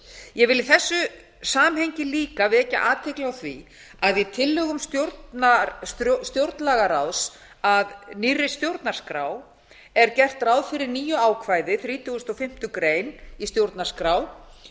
ég vil í þessu samhengi líka vekja athygli á því að í tillögum stjórnlagaráðs að nýrri stjórnarskrá er gert ráð fyrir nýju ákvæði þrítugustu og fimmtu grein í stjórnarskrá